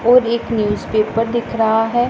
और एक न्यूजपेपर दिख रहा है।